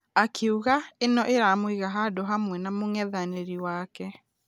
Akĩuga ĩno ĩramũiga handũ hamwe na mũngethanĩri wake.